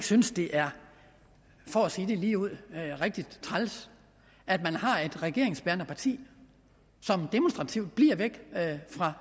synes det er for at sige det ligeud rigtig træls at man har et regeringsbærende parti som demonstrativt bliver væk fra